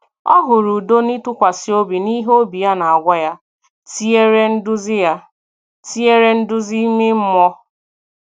Ọ hụrụ udo n’ịtụkwasị obi n’ihe obi ya na-agwa ya, tinyere nduzi ya, tinyere nduzi ime mmụọ.